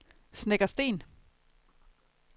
Snekkersten